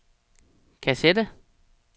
kassette